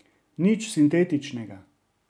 Nič sintetičnega.